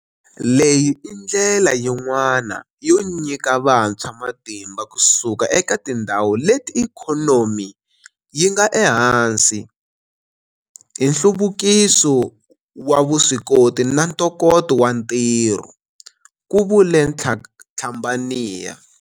Leyi i ndlela yin'wana yo nyika vantshwa matimba kusuka eka tindhawu leti ikhonomi yi nga ehansi hi nhluvukiso wa vuswikoti na ntokoto wa ntirho, ku vule Tlhabanea.